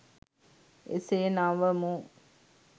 එසේ නවමු